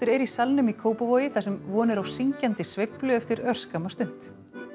er í Salnum í Kópavogi þar sem von er á syngjandi sveiflu eftir örskamma stund